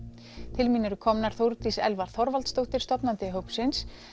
til mín eru komnar Þórdís Elva Þorvaldsdóttir stofnandi hópsins